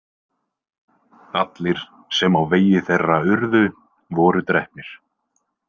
Allir, sem á vegi þeirra urðu, voru drepnir.